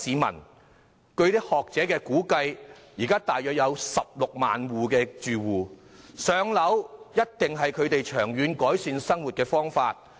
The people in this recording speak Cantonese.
根據學者的估計，這類住戶現時約有16萬，"上樓"必定是他們長遠改善生活的途徑。